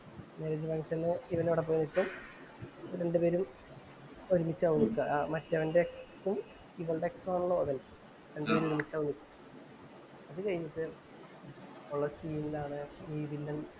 Marriage function ഉ ഇവന്‍ അവിടെ പോയി നിക്കും. രണ്ടുപേരും ഒരുമ്മിച്ചു ആകും. മറ്റേവന്‍റെ ex ഉം, ഇവളുടെ ex ഉം ആണല്ലോ ഇവര്‍. രണ്ടുപേരും ഒരുമ്മിച്ചാവും. അത് കഴിഞ്ഞിട്ടുള്ള ഉള്ള സീനിലാണ് ഈ വില്ലന്‍